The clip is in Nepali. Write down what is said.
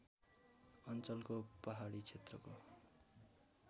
अञ्चलको पहाडी क्षेत्रको